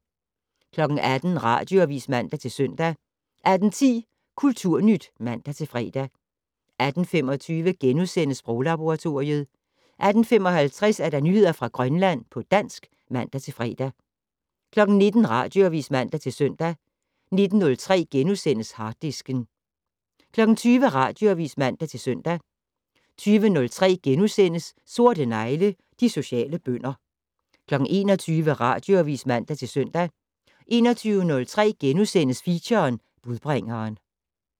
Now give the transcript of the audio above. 18:00: Radioavis (man-søn) 18:10: Kulturnyt (man-fre) 18:25: Sproglaboratoriet * 18:55: Nyheder fra Grønland på dansk (man-fre) 19:00: Radioavis (man-søn) 19:03: Harddisken * 20:00: Radioavis (man-søn) 20:03: Sorte negle: De sociale bønder * 21:00: Radioavis (man-søn) 21:03: Feature: Budbringeren *